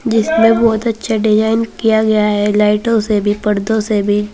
जिसमे बहोत अच्छा डिजाइन किया गया है लाइटों से भी पर्दो से भी।